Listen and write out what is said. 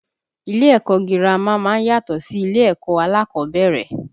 Ilé ẹ̀kọ́ girama má ń yàtọ̀ sí ilé ẹ̀kọ́ alákọ̀ọ́bẹ̀rẹ̀